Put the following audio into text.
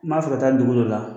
N b'a fɛ ka taa dugu dɔ la